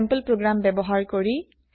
sample program ব্যৱহাৰ কৰি